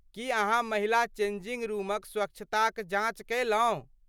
की अहाँ महिला चेंजिंग रूमक स्वच्छताक जाँच कयलहुँ?